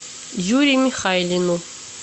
юре михайлину